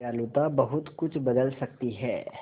दयालुता बहुत कुछ बदल सकती है